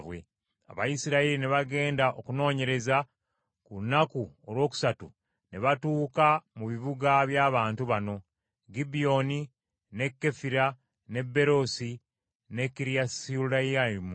Abayisirayiri ne bagenda okunoonyereza, ku lunaku olwokusatu ne batuuka mu bibuga by’abantu bano: Gibyoni, ne Kefira, ne Beroosi ne Kiriyasuyalimu.